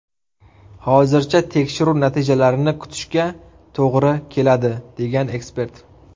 Hozircha tekshiruv natijalarini kutishga to‘g‘ri keladi”, degan ekspert.